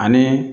Ani